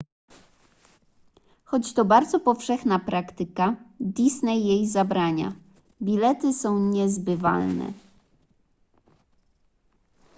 choć to bardzo powszechna praktyka disney jej zabrania bilety są niezbywalne